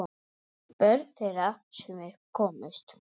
Börn þeirra, sem upp komust